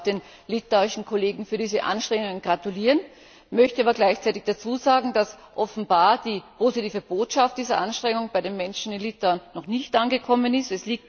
Ich darf den litauischen Kollegen zu diesen Anstrengungen gratulieren, möchte aber gleichzeitig dazusagen, dass offenbar die positive Botschaft dieser Anstrengungen bei den Menschen in Litauen noch nicht angekommen ist.